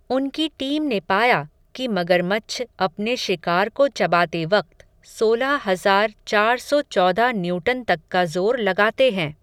उनकी टीम ने पाया, कि मगरमच्छ अपने शिकार को चबाते वक़्त, सोलह हज़ार चार सौ चौदह न्यूटन तक का ज़ोर लगाते हैं.